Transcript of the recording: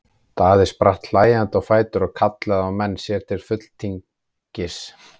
Daði spratt hlæjandi á fætur og kallaði á menn sér til fulltingis.